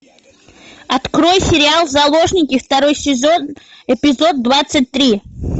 открой сериал заложники второй сезон эпизод двадцать три